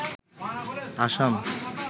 Assam